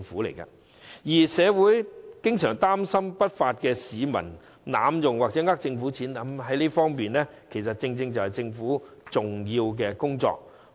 至於社會經常擔心有不法市民會濫用計劃或欺騙公帑的問題，這正正是政府重要的工作。